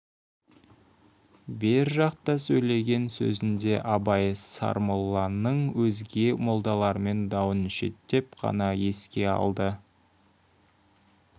бер жақта сөйлеген сөзінде абай сармолланың өзге молдалармен дауын шеттеп қана еске алды